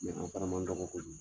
Mɛ o fana man dɔgɔ kojugu